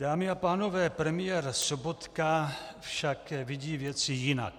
Dámy a pánové, premiér Sobotka však vidí věci jinak.